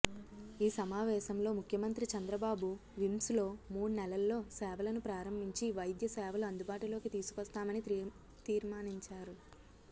ఈ సమావేశంలో ముఖ్యమంత్రి చంద్రబాబు విమ్స్లో మూడు నెలల్లో సేవలను ప్రారంభించి వైద్య సేవలు అందుబాటులోకి తీసుకొస్తామని తీర్మానించారు